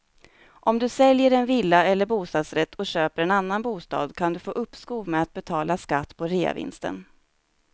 Om du säljer en villa eller bostadsrätt och köper en annan bostad kan du få uppskov med att betala skatt på reavinsten.